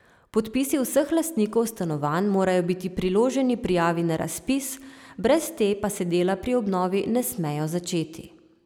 Podpisi vseh lastnikov stanovanj morajo biti priloženi prijavi na razpis, brez te pa se dela pri obnovi ne smejo začeti.